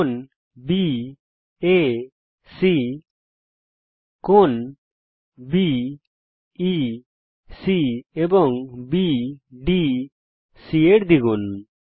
কোণ বিএসি কোণ বিইসি এবং বিডিসি এর দ্বিগুন